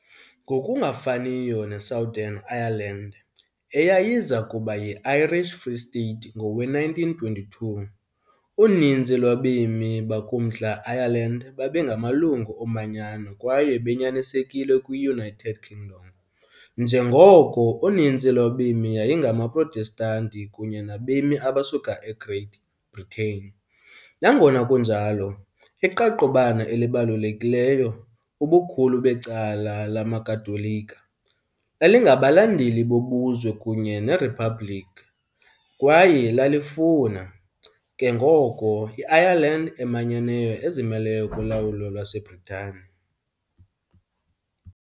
Ngokungafaniyo ne-Southern Ireland, eyayiza kuba yi-Irish Free State ngowe-1922, uninzi lwabemi bakuMntla Ireland babengamalungu omanyano kwaye benyanisekile kwi-United Kingdom, njengoko uninzi lwabemi yayingamaProtestanti kunye nabemi abasuka eGreat Britain, nangona kunjalo, iqaqobana elibalulekileyo, ubukhulu becala lamaKatolika, lalingabalandeli bobuzwe kunye neriphabliki kwaye lalifuna, ke ngoko, i-Ireland emanyeneyo ezimeleyo kulawulo lwaseBritani.